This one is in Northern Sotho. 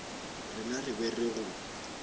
rena re be re go